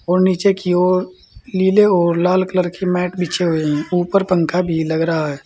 और नीचे की ओर नीले और लाल कलर की मैट बिछी हुई है ऊपर पंखा भी लग रहा है।